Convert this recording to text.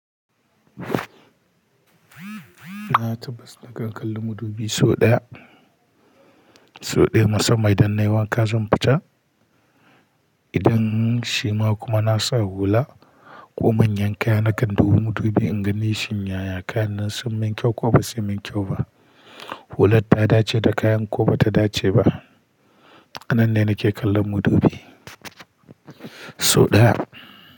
Na tabbas na kan kalla madubi sau ɗaya, sau ɗaya musamman idan nai wanka zan fita. Idan shima kuma na sa hula ko manyan kaya nakan dubi madubi in gani shin yaya kayannan sun min kyau ko ba su min kyau ba. Hular ta dace da kayan ko ba ta dace ba. A nan ne nake kallon madubi sau ɗaya.